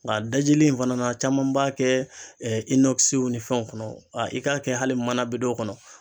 Nga dajili in fana na caman b'a kɛ ɛ inɔkisiw ni fɛnw kɔnɔ a i k'a kɛ hali manabidɔ kɔnɔ